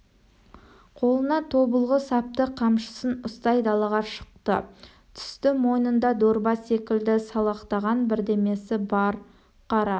қолына тобылғы сапты қамшысын ұстай далаға шықты түсті мойнында дорба секілді салақтаған бірдемесі бар қара